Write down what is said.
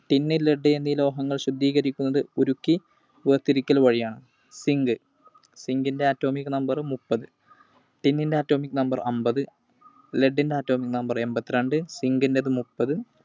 Tin, Lead എന്നീ ലോഹങ്ങൾ ശുദ്ധീകരിക്കുന്നത് ഉരുക്കി വേർതിരിക്കൽ വഴിയാണ്. Zinc. Zinc ൻറെ Atomic Number മുപ്പത്. Tin ൻറെ Atomic Number അമ്പത്. Lead ൻറെ Atomic Number എൺപത്തിരണ്ട്‍. Zinc ന്റേത് മുപ്പത്.